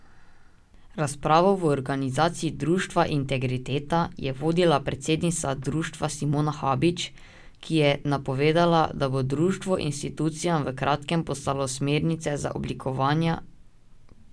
Razpravo v organizaciji društva Integriteta je vodila predsednica društva Simona Habič, ki je napovedala, da bo društvo institucijam v kratkem poslalo smernice za oblikovanja kodeksa etike.